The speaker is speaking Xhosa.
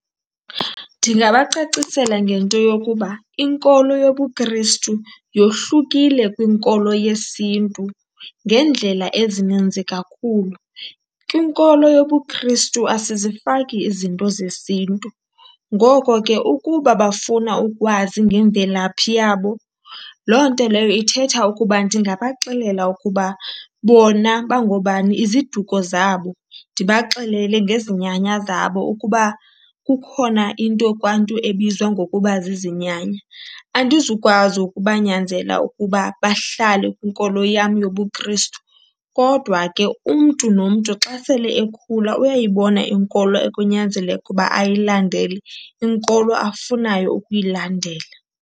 Ndingabacacisela ngento yokuba inkolo yobuKristu yohlukile kwinkolo yesiNtu ngeendlela ezininzi kakhulu. Kwinkolo yobuKristu asizifaki izinto zesiNtu. Ngoko ke ukuba bafuna ukwazi ngemvelaphi yabo loo nto leyo ithetha ukuba ndingabaxelela ukuba bona bangobani iziduko zabo, ndibaxelele ngezinyanya zabo, ukuba kukhona into kwaNtu ebizwa ngokuba zizinyanya. Andizukwazi ukubanyanzela ukuba bahlale kwinkolo yam yobuKristu, kodwa ke umntu nomntu xa sele ekhula uyayibona inkolo ekunyanzeleke uba ayilandele, inkolo afunayo ukuyilandela.